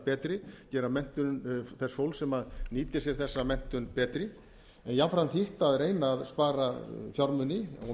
betri gera menntun þess fólks sem nýtir sér þessa menntun betri en jafnframt hitt að reyna að spara fjármuni og að